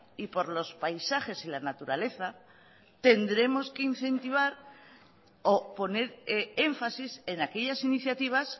y por los paisajes y la naturaleza tendremos que incentivar o poner énfasis en aquellas iniciativas